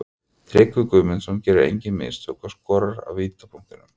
Tryggvi Guðmundsson gerir engin mistök og skorar af vítapunktinum.